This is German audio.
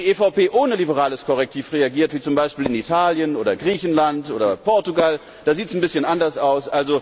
Wo die EVP ohne liberales Korrektiv regiert wie zum Beispiel in Italien, Griechenland oder Portugal, da sieht es ein bisschen anders aus.